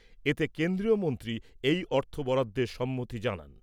এতে কেন্দ্রীয় মন্ত্রী এই অর্থ বরাদ্দের সম্মতি জানান।